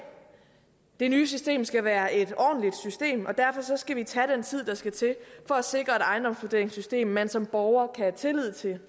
det nye system skal være et ordentligt system og derfor skal vi tage den tid der skal til for at sikre et ejendomsvurderingssystem man som borger kan have tillid til